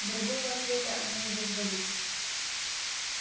другого ответа они не дождались